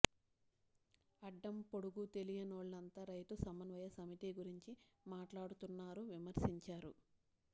అడ్డం పొడుగు తెలియనోళ్లంతా రైతు సమన్వయ సమితి గురించి మాట్లాడుతున్నారని విమర్శించారు